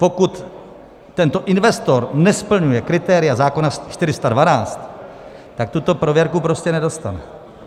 Pokud tento investor nesplňuje kritéria zákona 412, tak tuto prověrku prostě nedostane.